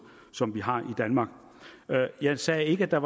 som vi har i danmark jeg sagde ikke at der